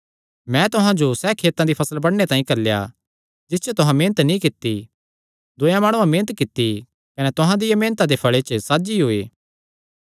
मैंई तुहां जो सैह़ खेतां दी फसल बडणे तांई घल्लेया जिस च तुहां मेहनत नीं कित्ती दूयेयां माणुआं मेहनत कित्ती कने तुहां तिन्हां दिया मेहनता दे फल़े च साझी होये